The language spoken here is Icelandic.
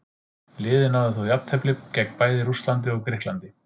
Liðið náði þó jafntefli gegn bæði Rússlandi og Grikklandi.